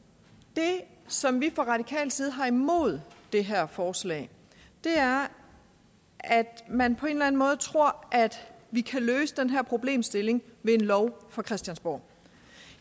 det som vi fra radikal side har imod det her forslag er at man på en eller anden måde tror at vi kan løse den her problemstilling med en lov fra christiansborg